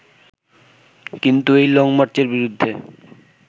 কিন্তু এই লংমার্চের বিরুদ্ধে